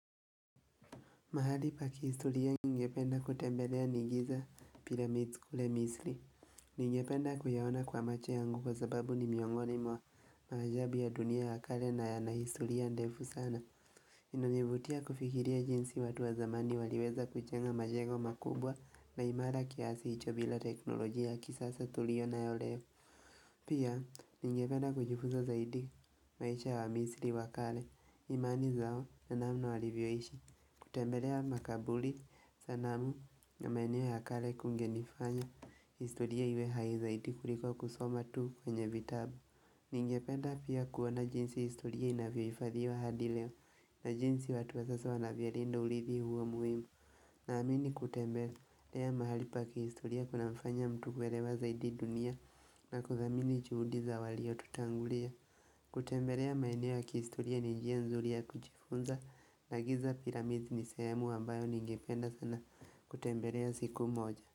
Mahali pa kihistoria ningependa kutembelea ni giza pyramids kule misli. Ningependa kuyaona kwa macho yangu kwa sababu ni miongoni mwa maajabu ya dunia ya kale na yana historia ndefu sana. Inanivutia kufikiria jinsi watu wa zamani waliweza kuchenga majengo makubwa na imara kiasi hicho bila teknolojia kisasa tulio na yo leo. Pia, ningependa kujifuza zaidi maisha wa misli wakale. Imani zao na namna walivyoishi kutembelea makabuli sanamu na maeneo ya kale kungenifanya historia iwe hai zaidi kuliko kusoma tu kwenye vitabu Ningependa pia kuona jinsi historia inavyoifadhiwa hadileo na jinsi watu wa sasa wanavyo linda ulithi huo muhimu na amini kutembelea lea mahali pa kihistoria kuna mfanya mtu kuelewa zaidi dunia na kuthamini juhudi za walio tutangulia kutembelea maeneo ya kihistoria ni njia nzuri ya kujifunza na giza pyraminds ni sehemu ambayo ningependa sana kutembelea siku moja.